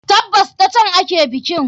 Tabbas, ta can ake bikin.